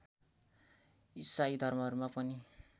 इसाई धर्महरूमा पनि